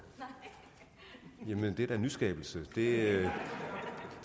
det er da en nyskabelse og det